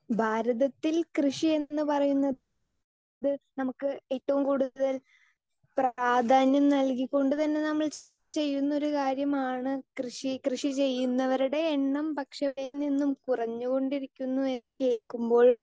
speaker 2 ഭാരതത്തിൽ കൃഷി എന്ന് ഉപറയുന്നത് നമുക്ക് ഏറ്റവും കൂടുതൽ പ്രാധ്യാനം നൽകിക്കൊണ്ട് തന്നെ നമ്മൾ ചെയുന്ന ഒരു കാര്യമാണ് കൃഷി കൃഷി ചെയ്യുന്നവരുടെ എണ്ണം പക്ഷെ കുറഞ്ഞുകൊണ്ടിരിക്കുന്നു എന്ന് കേൾക്കുമ്പോൾ